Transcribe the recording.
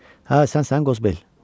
Hə, sən səngözbel.